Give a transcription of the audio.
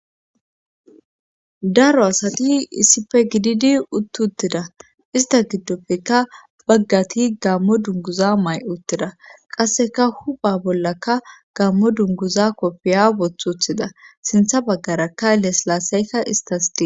daro asati issife gididi utt uttida ista giddopfeka baggati gammo dunguza may7uttida qasseka hupha bollakka gammo dunguza koppiya bothuthida sintha baggarakka leslaasayka istas dii